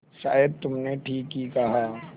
शायद तुमने ठीक ही कहा